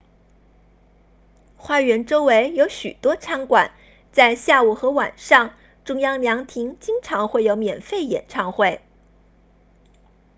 花园周围有许多餐馆在下午和晚上中央凉亭经常会有免费演唱会